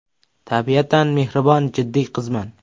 Tabiatan mehribon jiddiy qizman.